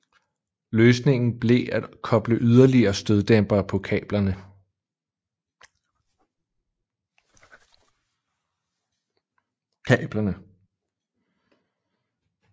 Løsningen blev at koble yderligere støddæmpere på kablerne